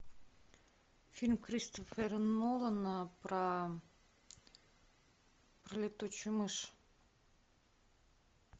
фильм кристофера нолана про летучую мышь